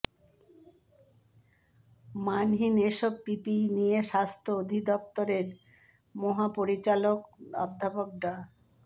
মানহীন এসব পিপিই নিয়ে স্বাস্থ্য অধিদফতরের মহাপরিচালক অধ্যাপক ডা